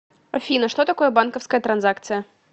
афина что такое банковская транзакция